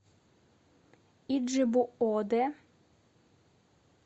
иджебу оде